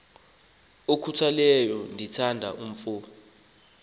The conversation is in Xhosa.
okhutheleyo ndithanda umf